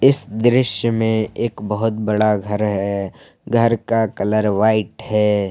इस दृश्य में एक बहुत बड़ा घर है घर का कलर व्हाइट है।